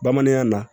Bamanankan na